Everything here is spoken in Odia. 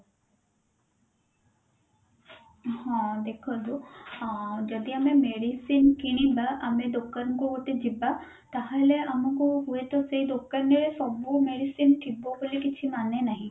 ହଁ ଦେଖନ୍ତୁ ଆଁ ଯଦି ଆଏ medicine କିଣିବା ଆମେ ଦୋକାନକୁ ଗୋଟେ ଯିବା ତାହେଲେ ଆମକୁ ହୁଏତ ସେଇ ଦୋକାନରେ ସବୁ medicine ଥିବ ବୋଲି କିଛି ମାନେ ନାହିଁ